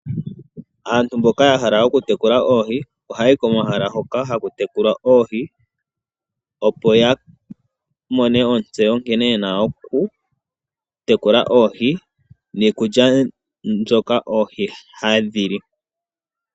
Aantu mboka yahala okutekula oohi ohayi komahala hoka hakutekulwa oohi opo yamone ontseyo nkene yena okutekula oohi niikulya mbyoka oohi hadhili.